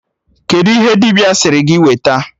Kedụ ihe dibịa sịrị gị weta?